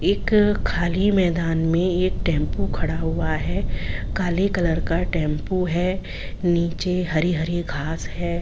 एक खाली मैदान में एक टेंपू खड़ा हुआ है काले कलर का टेंपू है नीचे हरी-हरी घास है।